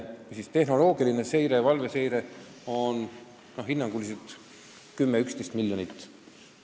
Tehnoloogiline valveseire vajab hinnanguliselt 10–11 miljonit.